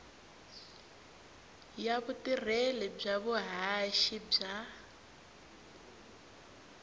ya vutirheli bya vuhaxi bya